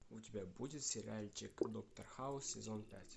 у тебя будет сериальчик доктор хаус сезон пять